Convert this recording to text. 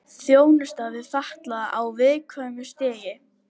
Þjónusta við fatlaða á viðkvæmu stigi